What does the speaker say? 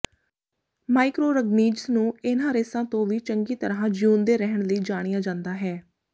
microorganisms ਨੂੰ ਇਹਨਾਂ ਰੇਸਾਂ ਤੋਂ ਵੀ ਚੰਗੀ ਤਰ੍ਹਾਂ ਜੀਉਂਦੇ ਰਹਿਣ ਲਈ ਜਾਣਿਆ ਜਾਂਦਾ ਹੈ